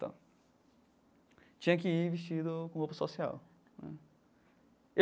Tal tinha que ir vestido com roupa social né.